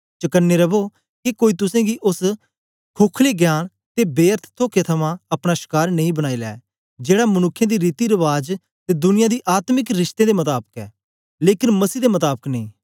चकने रवो के कोई तुसेंगी ओस खोखले ज्ञान ते बेअर्थ तोखे थमां अपना शकार नेई बनाई लै जेड़ा मनुक्खें दे रीति रबाज ते दुनिया दी आत्मिक श्क्तितें दे मताबक ऐ लेकन मसीह दे मताबक नेई